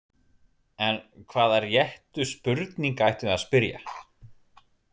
En hvaða réttu spurninga ættum við að spyrja?